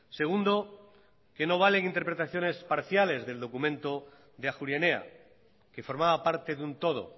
segundo que no valen interpretaciones parciales del documento de ajuria enea que formaba parte de un todo